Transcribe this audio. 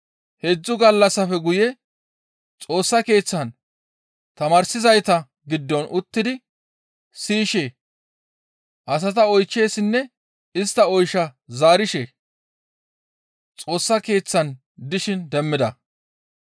Heedzdzu gallassafe guye Xoossa Keeththan tamaarsizayta giddon uttidi siyishe, asata oychchishenne istta oysha zaarishe Xoossa Keeththan dishin demmida.